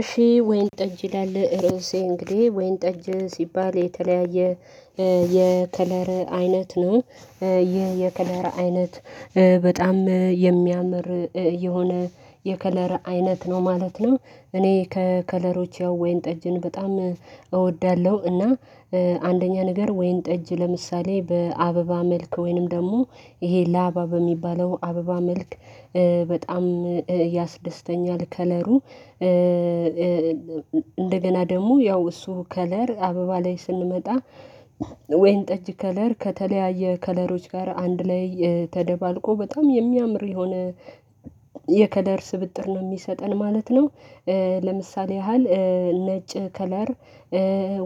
እሺ ወይን ጠጅ ይላል እርእሴ እንግዲህ ወይን ጠጅ ሲባል የተለያየ የከለር አይነት ነው ይህ የከለር አይነት በጣም የሚያምር የሆነ የከለር አይነት ነው ማለት ነው። እኔ ከከለሮች ወይንጠጅን በጣም እወዳለሁ እና አንደኛ ነገር ወይን ጠጅ ለምሳሌ በአበባ መልክ ወይንም ደሞ ይሄ ላባ በሚባለው አበባ መልክ በጣም ያስደስተኛል ከለሩ። እንደገና ደሞ ያው እሱ ከለር አበባ ላይ ስንመጣ ወይንጠጅ ከለር ከተለያየ ከለሮች ጋር አንድ ላይ ተደባልቆ በጣም የሚያምር የሆነ የከለር ስብጥር ነው የሚሰጠን ማለት ነው። ለምሳሌ ያህል ነጭ ከለር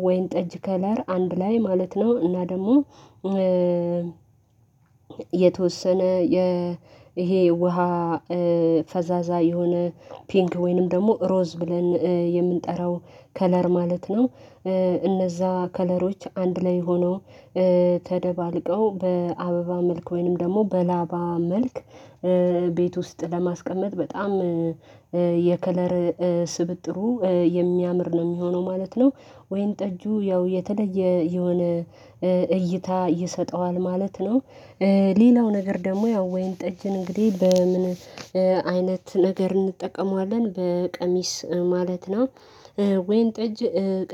ወይንጠጅ ከለር አንድ ላይ ማለት ነው እና ደሞ የተወሰነ ይሄ ውሃ ፈዛዛ የሆነ ፒንክ ወይንም ደሞ ሮዝ ብለን የምንጠራው ከለር ማለት ነው። እነዛ ከለሮች አንድ ላይ ሆነው ተደባልቀው በአበባ መልክ ወይንም ደሞ በላባ መልክ ቤት ውስጥ ለማስቀመጥ በጣም የከለር ስብጥሩ የሚያምር ነው እሚሆነው ማለት ነው። ወይንጠጁ ያው የተለየ የሆነ እይታ ይሰጠዋል ማለት ነው። ሌላው ነገር ደሞ ያው ወይንጠጅን እንግዲህ በምን አይነት ነገር እንጠቀመዋለን በቀሚስ ማለት ነው ወይንጠጅ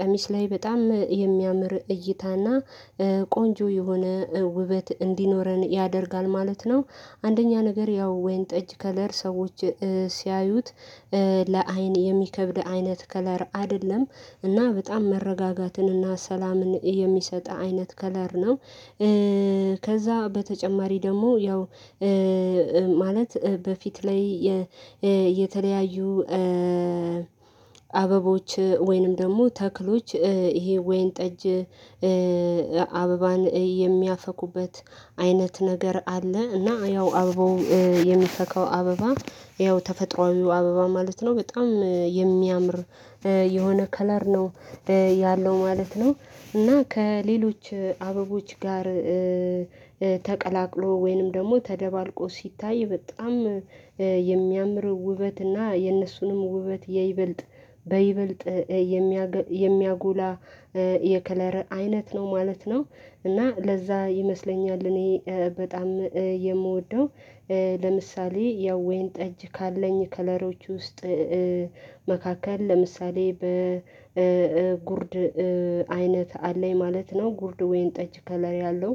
ቀሚስ ላይ በጣም የሚያምር እይታና ቆንጆ የሆነ ውበት እንዲኖረን ያደርጋል ማለት ነው። አንደኛ ነገር ያው ወይንጠጅ ከለር ሰዎች ሲያዩት ለአይን የሚከብድ አይነት ከለር አደለም እና በጣም መረጋጋትን እና ሰላምን የሚሰጥ አይነት ከለር ነው። ከዛ በተጨማሪ ደሞ ያው ማለት በፊት ላይ የተለያዩ አበቦች ወይንም ደሞ ተክሎች ይሄ ወይንጠጅ አበባን የሚያፈኩበት አይነት ነገር አለ እና ያው አበባው የሚፈካው አበባ ያው ተፈጥሮአዊው አበባ ማለት ነው በጣም የሚያምር የሆነ ከለር ነው። ያለው ማለት ነው እና ከሌሎች አበቦች ጋር ተቀላቅሎ ወይንም ደሞ ተደባልቆ ሲታይ በጣም የሚያምር ውበት እና የነሱንም ውበት የይበልጥ በይበልጥ የሚያጎላ የከለር አይነት ነው ማለት ነው። እና ለዛ ይመስለኛል እኔ በጣም የምወደው ለምሳሌ ያው ወይንጠጅ ካለኝ ከለሮች ውስጥ መካከል ለምሳሌ በጉርድ አይነት አለኝ ማለት ነው ጉርድ ወይንጠጅ ከለር ያለው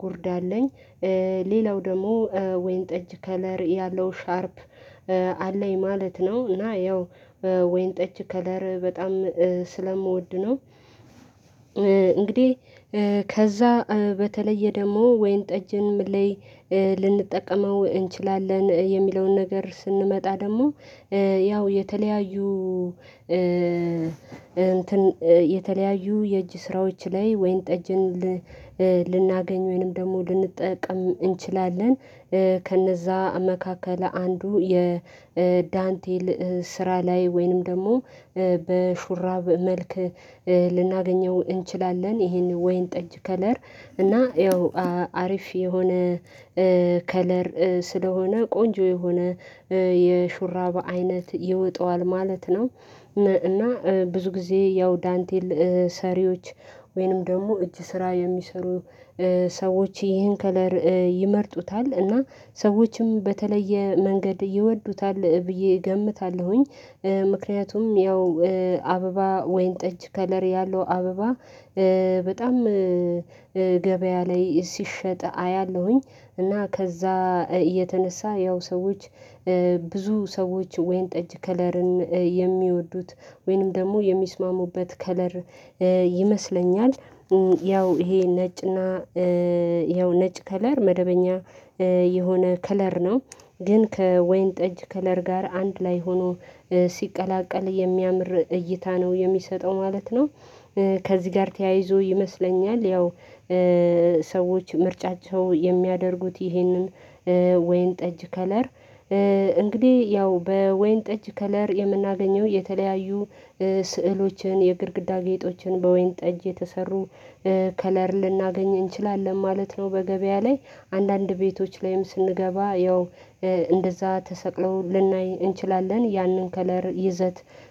ጉርድ አለኝ ሌላው ደሞ ወይንጠጅ ከለር ያለው ሻርፕ አለኝ ማለት ነው እና ያው ወይንጠጅ ከለር በጣም ስለምወድ ነው። እንግዴ ከዛ በተለየ ደሞ ወይንጠጅን ምን ላይ ልንጠቀመው እንችላለን የሚለውን ነገር ስንመጣ ደሞ ያው የተለያዩ የተለያዩ የእጅ ስራዎች ላይ ወይንጠጅን ልናገኝ ወይንም ደሞ ልንጠቀም እንችላለን ከነዛ መካከል አንዱ የዳንቴል ስራ ላይ ወይንም ደሞ በሹራብ መልክ ልናገኘው እንችላለን ይሄን ወይንጠጅ ከለር እና ያው አሪፍ የሆነ ከለር ስለሆነ ቆንጆ የሆነ የሹራባ አይነት ይወጣዋል ማለት ነው። እና ብዙ ጊዜ ያው ዳንቴል ሰሪዎች ወይንም ደሞ እጅ ስራ የሚሰሩ ሰዎች ይህን ከለር ይመርጡታል እና ሰዎችም በተለየ መንገድ ይወዱታል ብዬ እገምታለሁኝ። ምክንያቱም ያው አበባ ወይንጠጅ ከለር ያለው አበባ በጣም ገበያ ላይ ሲሸጥ አያለሁኝ እና ከዛ የተነሳ ያው ሰዎች ብዙ ሰዎች ወይን ጠጅ ከለርን የሚወዱት ወይንም ደሞ የሚስማሙበት ከለር ይመስለኛል ያው ይሄ ነጭና የው ነጭ ከለር መደበኛ የሆነ ከለር ነው ግን ከወይን ጠጅ ከለር ጋር አንድ ላይ ሆኖ ሲቀላቀል የሚያምር እይታ ነው የሚሰጠው ማለት ነው። ከዚ ጋር ተያይዞ ይመስለኛል ያው ሰዎች ምርጫቸው የሚያደርጉት ይሄንን ወይንጠጅ ከለር እንግዲህ ያው በወይንጠጅ ከለር የምናገኘው የተለያዩ ስዕሎችን የግድግዳ ጌጦችን በወይን ጠጅ የተሰሩ ከለር ልናገኝ እንችላለን ማለት ነው በገበያ ላይ አንዳንድ ቤቶች ላይም ስንገባ ያው እንደዛ ተሰቅለው ልናይ እንችላለን ያንን ከለር ይዘት